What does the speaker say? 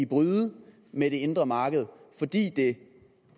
bryde med det indre marked fordi det